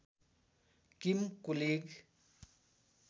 किम कुलिग